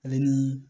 Ale ni